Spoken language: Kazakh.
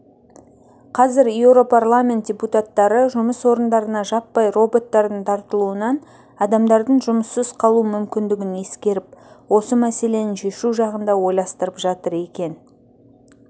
қазір еуропарламент депутаттары жұмыс орындарына жаппай роботтардың тартылуынан адамдардың жұмыссыз қалу мүмкіндігін ескеріп осы мәселені шешу жағын да ойластырып жатыр екен